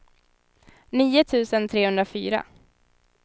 nio tusen trehundrafyra